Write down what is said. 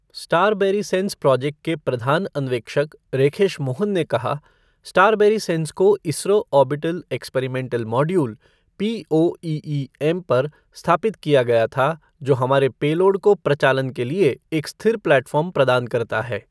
स्टारबैरीसेंस project के प्रधान अन्वेक्षक रेखेश मोहन ने कहा, स्टारबैरीसेंन्स को ISRO orbital experimental module, POEM पर स्थापित किया गया था, जो हमारे पेलोड को प्रचालन के लिए एक स्थिर प्लेटफ़ॉर्म प्रदान करता है।